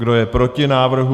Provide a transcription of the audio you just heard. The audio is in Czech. Kdo je proti návrhu?